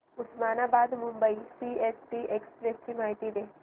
Osmanabad Mumbai CST express ची माहिती दे